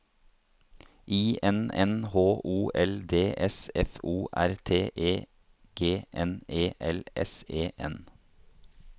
I N N H O L D S F O R T E G N E L S E N